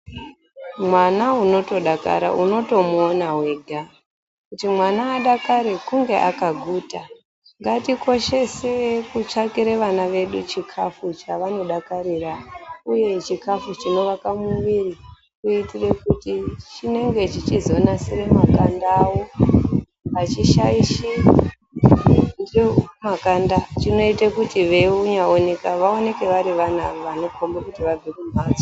Mwana unotodakara unotomuona wega kuti mwana adakare kunge akaguta ngatikoshese kutsvakire vana vedu chikafu chavanodakarira uye chikafu chinovake muviri kuitire kuti chinenge chichizonasire makanda avo achishaishi makanda chinoite kuti veinyaoneka vaoneke vari vana vanokombe kuti vabve kumhatso.